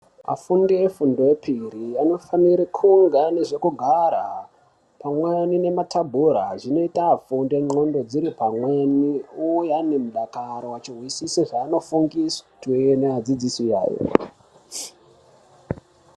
Afundi efundo yepiri anofanire kunge ane zvekugara, kumweni nemathabhura zvinoita afunde ndxondo dziri pamweni, uye ane mudakaro, achihwisise zveanofundiswe twe neadzidzisi ayo.